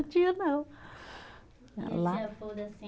Tinha não, lá.